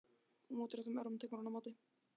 Og með útréttum örmum tekur hún á móti.